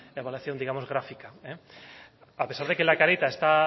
evaluación digamos gráfica a pesar de que la carita está